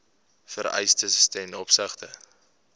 vereistes ten opsigte